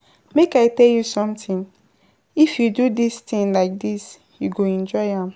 Make I tell you something, if you do dis thing like dis you go enjoy am.